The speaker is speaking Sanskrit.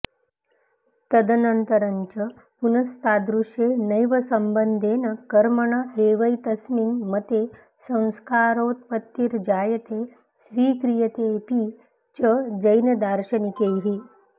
तदनन्तरञ्च पुनस्तादृशे नैव सम्बन्धेन कर्मण एवैतस्मिन् मते संस्कारोत्पत्तिर्जायते स्वीक्रियतेऽपि च जैनदार्शनिकैः